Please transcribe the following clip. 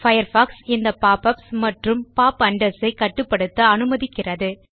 Firefox இந்த pop ups மற்றும் pop unders ஐ கட்டுப்படுத்த அனுமதிக்கிறது